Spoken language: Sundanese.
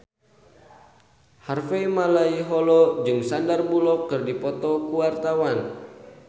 Harvey Malaiholo jeung Sandar Bullock keur dipoto ku wartawan